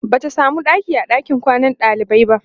Bata samu ɗaki a ɗakin kwanan ɗalibai ba